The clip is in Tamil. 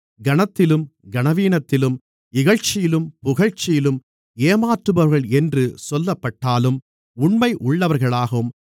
கனத்திலும் கனவீனத்திலும் இகழ்ச்சியிலும் புகழ்ச்சியிலும் ஏமாற்றுபவர்கள் என்று சொல்லப்பட்டாலும் உண்மை உள்ளவர்களாகவும்